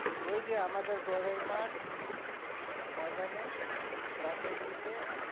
ওই যে আমাদের গড়ের মাঠ ময়দানে গাছের নিচে।